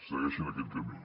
segueixin aquest camí